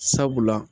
Sabula